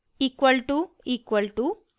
== equal to equal to